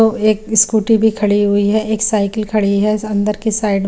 वो एक स्कूटी भी खड़ी हुई है एक साइकिल खड़ी है अन्दर की साइड में --